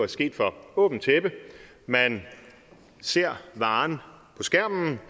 sket for åbent tæppe man ser varen på skærmen